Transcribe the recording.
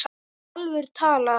Í alvöru talað.